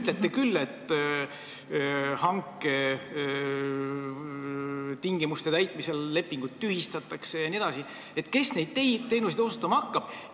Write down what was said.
Te ütlete küll, et hanke tingimuste mittetäitmisel lepingud tühistatakse jne, aga kes neid teenuseid osutama hakkab?